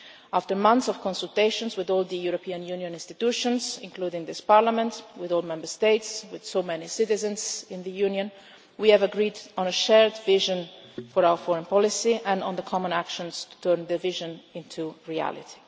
After months of consultations with all the European Union institutions, including this Parliament, with all the Member States, with so many citizens in the Union, we have agreed on a shared vision for our foreign policy and on the common actions to turn the vision into reality.